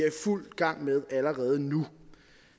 fuld gang med allerede nu